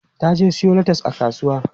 Ta je siyo latas a kasuwa.